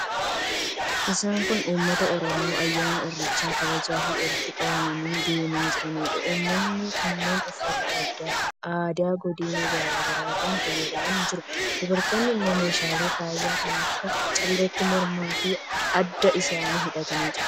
Isaan kun uummata Oromoo ayyaana Irreechaa kabachuuf walitti qabamanii deemaa jiraniidha. Uummatni kunneen uffata aadaa godina garaa garaatiin faayamanii jiru. Dubartoonni immoo meeshaalee faayaa kan akka calleetiin mormaafi adda isaanii hidhatanii jiru.